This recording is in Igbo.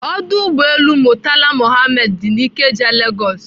Ọdụ ụgbọelu Murtala Muhammed dị na Ikeja, Lagos.